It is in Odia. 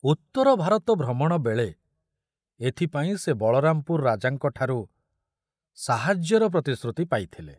ଉତ୍ତର ଭାରତ ଭ୍ରମଣ ବେଳେ ଏଥିପାଇଁ ସେ ବଳରାମପୁର ରାଜାଙ୍କଠାରୁ ସାହାଯ୍ୟର ପ୍ରତିଶ୍ରୁତି ପାଇଥିଲେ।